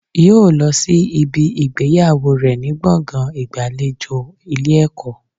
Yóò lọ sí ibi ìgbéyàwó rẹ̀ ní gbọ̀ngàn ìgbàlejò Ilé ẹ̀kọ́